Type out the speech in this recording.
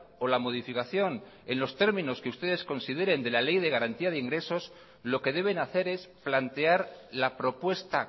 o la modificación en los términos que ustedes consideren de la ley de garantía de ingresos lo que deben hacer es plantear la propuesta